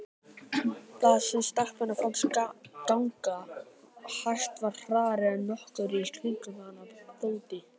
Það sem stelpunni fannst ganga hægt var hraðara en nokkur í kringum hana þoldi.